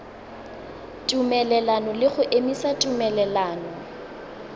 tumelelano le go emisa tumelelano